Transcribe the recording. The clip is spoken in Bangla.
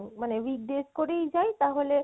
মানে weekdays করেই যাই তাহলে